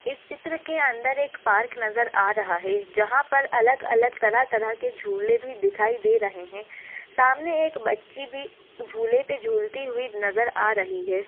इस चित्र के अंदर एक पार्क नजर आ रहा है जहा पर अलग अलग तरह तरह के झूले भी दिखाई दे रहे है सामने एक बच्ची भी झूले पर झूलती हुई नजर आ रही है।